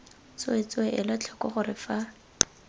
tsweetswee ela tlhoko gore fa